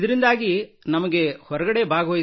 ಶಾಲೆಯ ಕಡೆಯಿಂದಲೇ from the school itself